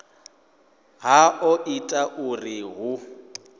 ha o ita uri hu